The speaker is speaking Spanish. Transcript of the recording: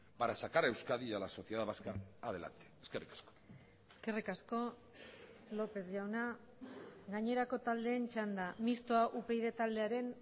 para sacar a euskadi y a la sociedad vasca adelante eskerrik asko eskerrik asko lópez jauna gainerako taldeen txanda mistoa upyd taldearen